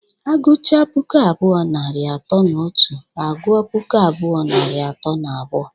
Agụcha puku abụọ, narị atọ na otu agụọ puku abụọ, narị atọ na abụọ.